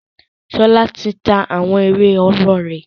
Ṣọlá ti ta àwọn ìwé ọwọ́ rẹ̀.